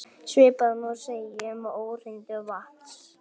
Svipað má segja um óhreinindi vatns.